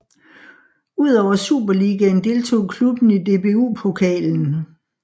Udover Superligaen deltog klubben i DBU Pokalen